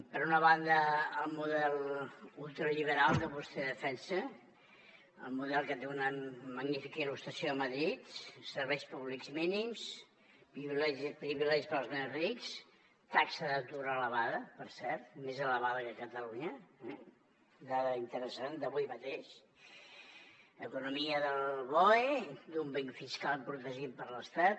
per una banda el model ultraliberal que vostè defensa el model que té una magnífica il·lustració a madrid serveis públics mínims privilegis per als més rics taxa d’atur elevada per cert més elevada que a catalunya eh dada interessant d’avui mateix economia del boe dúmping fiscal protegit per l’estat